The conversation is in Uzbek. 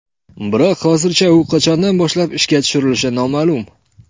Biroq hozircha u qachondan boshlab ishga tushirilishi noma’lum.